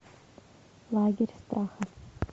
лагерь страха